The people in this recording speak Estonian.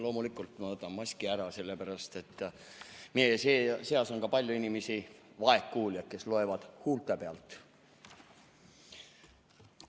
Loomulikult ma võtan maski ära, sellepärast et meie seas on ka vaegkuuljaid, kes loevad huulte pealt.